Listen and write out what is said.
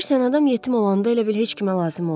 Bilirsən, adam yetim olanda elə bil heç kimə lazım deyilsən.